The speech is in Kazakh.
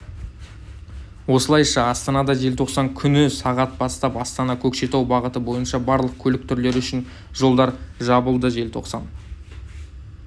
осылайша астанада желтоқсан күні сағат бастап астана-көкшетау бағыты бойынша барлық көлік түрлері үшін жолдар жабылды желтоқсан